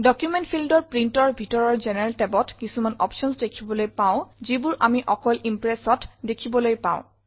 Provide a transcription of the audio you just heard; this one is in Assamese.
ডকুমেণ্ট ফিল্ড ৰ printৰ ভিতৰৰ জেনাৰেল tabত কিছুমান অপশ্যনছ দেখিবলৈ পাওঁ যিবোৰ আমি অকল Impressত দেখিবলৈ পাওঁ